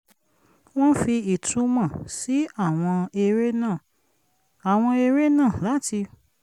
wọ́n fi ìtunmọ̀ sí àwọn eré náà àwọn eré náà láti